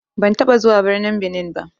Ban taɓa zuwa birnin Benin ba.